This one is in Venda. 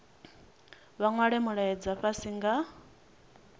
vha nwale mulaedza fhasi nga